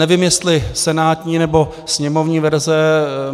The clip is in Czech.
Nevím, jestli senátní, nebo sněmovní verze.